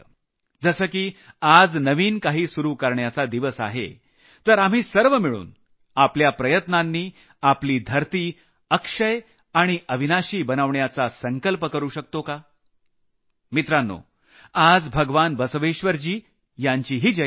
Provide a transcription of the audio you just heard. जसं की आज नवीन काही सुरू करण्याचा दिवस आहे तर आपण सर्व मिळून आपल्या प्रयत्नांनी आपली धरती अक्षय आणि अविनाशी बनवण्याचा संकल्प करू शकतो का मित्रांनो आज भगवान बसवेश्वरजी यांचीही जयंती आहे